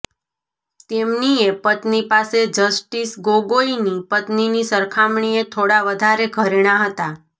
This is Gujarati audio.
તેમનીએ પત્ની પાસે જસ્ટિસ ગોગોઈની પત્નીની સરખામણીએ થોડા વધારે ઘરેણા હતા